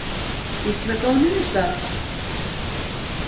Býsna góð niðurstaða